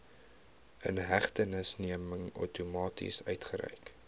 inhegtenisneming outomaties uitgereik